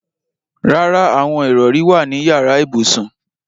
Rárá, àwọn ìrọrí wà ní yàrá ibùsùn.